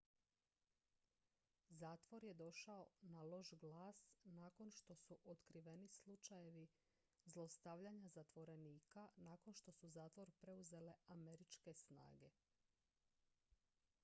zatvor je došao na loš glas nakon što su otkriveni slučajevi zlostavljanja zatvorenika nakon što su zatvor preuzele američke snage